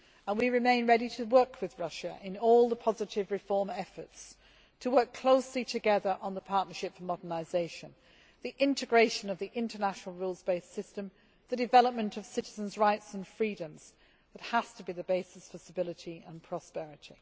We remain ready to work with Russia in all the positive reform efforts, to work closely together on the Partnership for Modernisation, the integration of the international rules based system, and the development of citizens' rights and freedoms that has to be the basis for stability and prosperity.